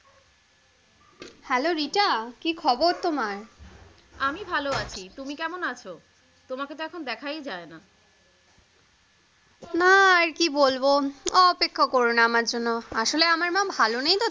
Hello Rita কি খবর তোমার? আমি ভালো আছি, তুমি কেমন আছো? তোমাকে তো এখন দেখাই যায়না। না আর কি বলবো অপেক্ষা কোরো না আমার জন্য আসলে আমার মা ভালো নেই তো?